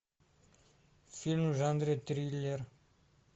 фильм в жанре триллер